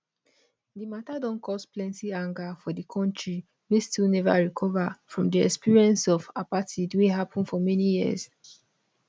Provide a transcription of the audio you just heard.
di matter don cause plenty anger for di kontri wey still neva fully recover from di experience of apartheid wey happen for many years